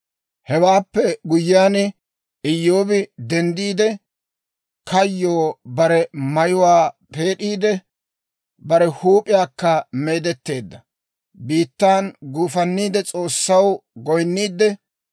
Hewaappe guyyiyaan, Iyyoobi denddiide, kayyoo bare mayuwaa peed'iide; bare huup'iyaakka meedetteedda. Biittan guufanniide S'oossaw goyinniidde,